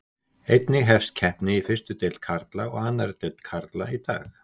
Einnig hefst keppni í fyrstu deild karla og annarri deild karla í dag.